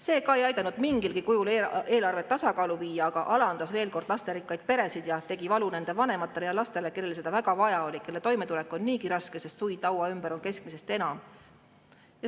See ka ei aidanud mingilgi kujul eelarvet tasakaalu viia, aga alandas veel kord lasterikkaid peresid ja tegi valu vanematele ja lastele, kellel seda väga vaja oli, kelle toimetulek on niigi raske, sest suid laua ümber on keskmisest enam.